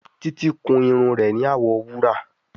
Títí kún Irun rẹ ní awọ wúrà.